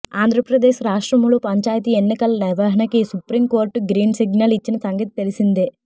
ఆంధ్ర ప్రదేశ్ రాష్ట్రములో పంచాయతీ ఎన్నికల నిర్వహణ కి సుప్రీం కోర్టు గ్రీన్ సిగ్నల్ ఇచ్చిన సంగతి తెలిసిందే